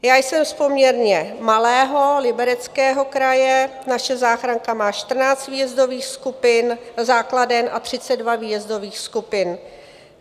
Já jsem z poměrně malého Libereckého kraje, naše záchranka má 14 výjezdových základen a 32 výjezdových skupin.